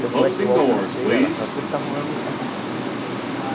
Tanto é que eu alcancei ela, que ela sempre estava um ano à frente.